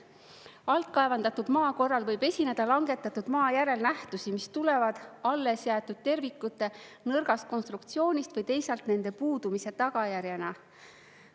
Altkaevandatud maa korral võib esineda langetatud maa järel nähtusi, mis tulevad alles jäetud tervikute nõrgast konstruktsioonist või teisalt nende puudumise tagajärjena.